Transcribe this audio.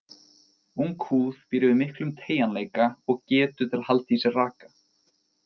Ung húð býr yfir miklum teygjanleika og getu til að halda í sér raka.